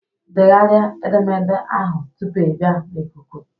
Degharịa edemede ahụ tupu ị bịa na ikuku!